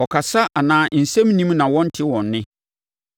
Ɔkasa anaa nsɛm nnim na wɔnnte wɔn nne.